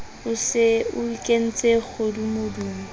o se o ikentse kgodumodumo